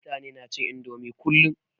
Mutani na cin indomie kullum